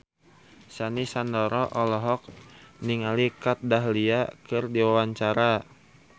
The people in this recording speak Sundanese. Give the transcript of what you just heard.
Sandy Sandoro olohok ningali Kat Dahlia keur diwawancara